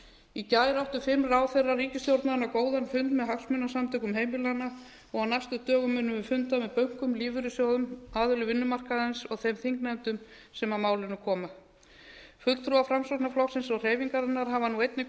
í gær áttu fimm ráðherrar ríkisstjórnarinnar góðan fund með hagsmunasamtökum heimilanna og á næstu dögum munum við funda með bönkum lífeyrissjóðum aðilum vinnumarkaðarins og þeim þingnefndum sem að málinu koma fulltrúar framsóknarflokksins og hreyfingarinnar hafa nú einnig